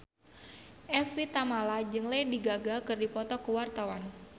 Evie Tamala jeung Lady Gaga keur dipoto ku wartawan